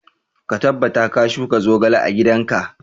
Ka tabbata ka shuka zogale a gidan ka!